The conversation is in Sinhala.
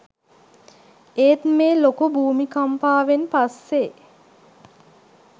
ඒත් මේ ලොකු භූමිකම්පාවෙන් පස්සේ